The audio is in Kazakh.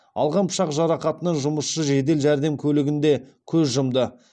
алған пышақ жарақатынан жұмысшы жедел жәрдем көлігінде көз жұмды